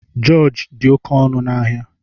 Jorji dị oké ọnụ na áhiá